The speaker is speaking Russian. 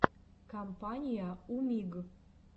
компания умиг